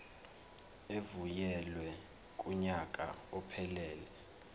evunyelwe kunyaka ophelele